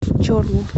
чорлу